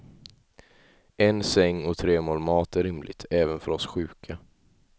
En säng och tre mål mat är rimligt, även för oss sjuka.